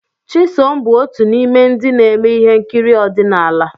Chisom bụ otu n'ime ndị na-eme ihe nkiri ọdịnala.